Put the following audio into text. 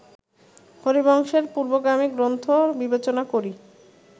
হরিবংশের পূর্বগামী গ্রন্থ বিবেচনা করি